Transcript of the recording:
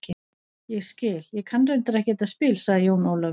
Ég skil, ég kann reyndar ekki þetta spil, sagði Jón Ólafur.